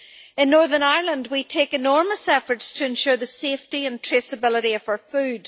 In Northern Ireland we make enormous efforts to ensure the safety and traceability of our food.